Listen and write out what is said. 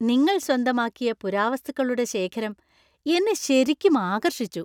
നിങ്ങൾ സ്വന്തമാക്കിയ പുരാവസ്തുക്കളുടെ ശേഖരം എന്നെ ശരിക്കും ആകർഷിച്ചു.